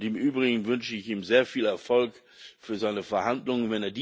Im Übrigen wünsche ich ihm sehr viel Erfolg für seine Verhandlungen.